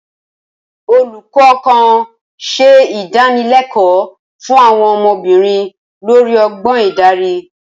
Olùkọ́ kan ṣe ìdánilẹ́kọ̀ọ́ fún àwọn ọmọbìnrin lórí ọgbọ́n ìdarí.